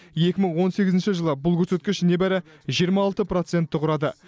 екі мың он сегізінші жылы бұл көрсеткіш небәрі жиырма алты процентті құрады